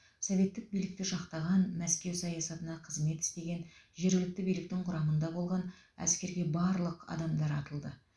советтік билікті жақтаған мәскеу саясатына қызмет істеген жергілікті биліктің құрамында болған әскерге барлық адамдар атылды